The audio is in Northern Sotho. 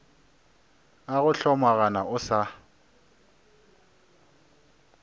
a go hlomagana o sa